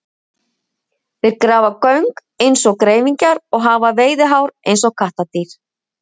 Þeir grafa göng eins og greifingjar og hafa veiðihár eins og kattardýr.